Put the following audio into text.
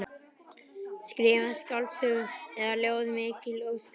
Skrifa skáldsögu eða ljóð, mikil ósköp.